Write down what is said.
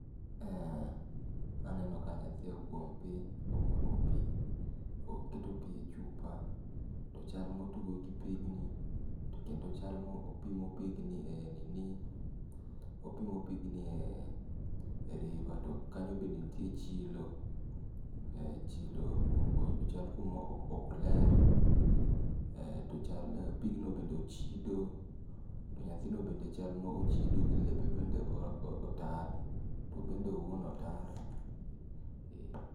Eh aneno ka nyathi ogwom piny. Omako pi, oketo pi e chupa to chal ma otugo gi pigni, to kendo chal ma opimo pigni e nini opimo pigni e river to kanyo bende nitie chilo. Chilo ochal kuma ok oler,. to ochal pigno bende ochido. To nyathino bende chal mochido to lepe bende otar to obende owuon otar, eh.